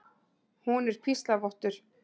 Hún er píslarvottur.